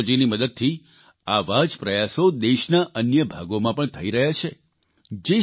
નવી ટેકનોલોજીની મદદથી આવા જ પ્રયાસો દેશના અન્ય ભાગોમાં પણ થઇ રહ્યા છે